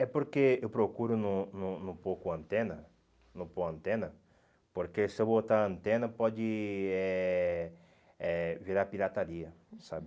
É porque eu procuro não não não pôr com antena, não pôr com antena, porque se eu botar antena pode eh eh virar pirataria, sabe?